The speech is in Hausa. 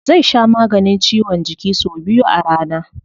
Zai sha maganin ciwon jiki sau biyu a rana.